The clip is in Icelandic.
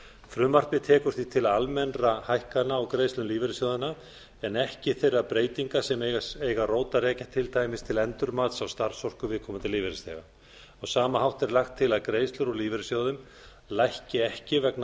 frumvarpið tekur því til almennra hækkana úr greiðslum lífeyrissjóðanna en ekki þeirra breytinga sem eiga rót að rekja til dæmis til endurmats á starfsorku lífeyrisþega á sama hátt er lagt til að greiðslur úr lífeyrissjóðum lækki ekki vegna